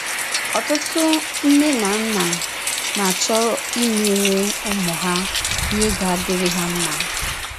Ọtụtụ nne na nna na - achọ imere ụmụ ha ihe ga - adịrị ha mma.